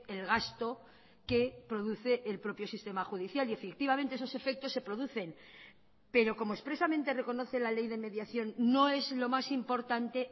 el gasto que produce el propio sistema judicial y efectivamente esos efectos se producen pero como expresamente reconoce la ley de mediación no es lo más importante